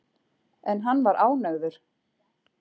En hann var ánægður.